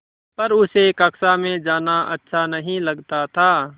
पर उसे कक्षा में जाना अच्छा नहीं लगता था